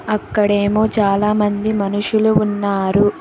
అక్కడేమో చాలామంది మనుషులు ఉన్నారు.